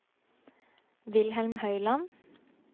Wilhelm Høiland